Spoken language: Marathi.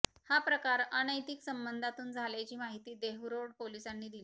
हा प्रकार अनैतिक संबंधातून झाल्याची माहिती देहूरोड पोलिसांनी दिली